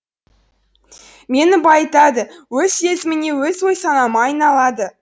мені байытады өз сезіміме өз ой санама айналады